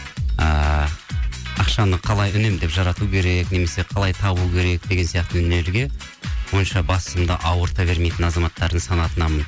ыыы ақшаны қалай үнемдеп жарату керек немесе қалай табу керек деген сияқты өнерге онша басымды ауырта бермейтін азаматтардың санатынанмын